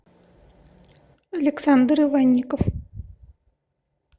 александр иванников